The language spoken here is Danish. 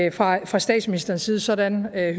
et nej fra statsministerens side sådan hører jeg